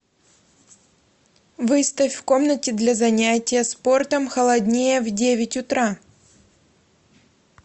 выставь в комнате для занятия спортом холоднее в девять утра